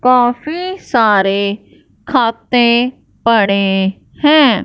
काफी सारे खाते पड़े हैं।